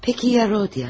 Peki ya Rodia?